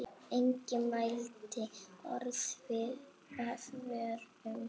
Enginn mælti orð af vörum.